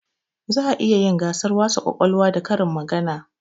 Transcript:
Za a iya yin gasar wasa kwakwalwa da karin magana